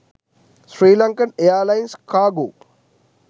sri lankan airlines cargo